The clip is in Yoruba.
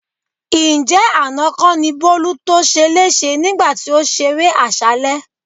Ǹjẹ́ àná kọ́ ni Bólú to ṣeléṣe nígbà tí ó ṣeré àṣálẹ́?